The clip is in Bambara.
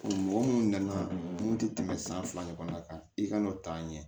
Mɔgɔ minnu nana mun tɛ tɛmɛ san fila ɲɔgɔn kan i ka n'o ta ɲɛ